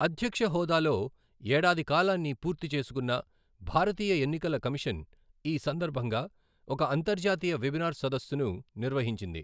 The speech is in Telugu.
అధ్యక్షహోదాలో ఏడాది కాలాన్ని పూర్తి చేసుకున్న భారతీయ ఎన్నికల కమిషన్, ఈ సందర్భంగా ఒక అంతర్జాతీయ వెబినార్ సదస్సును నిర్వహించింది.